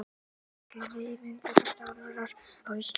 Vilja vefmyndavélar á Íslandi